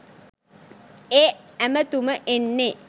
ඒ ඇමතුම එන්නේ.